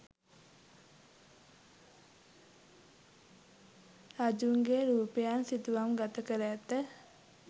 රජුන්ගේ රූපයන් සිතුවම්ගත කර ඇත.